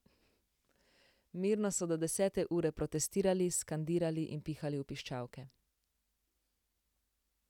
Mirno so do desete ure protestirali, skandirali in pihali v piščalke.